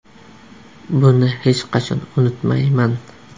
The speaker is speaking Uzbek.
Buni hech qachon unutmayman.